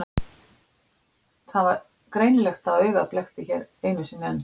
Það var greinilegt að augað blekkti hér einu sinni enn.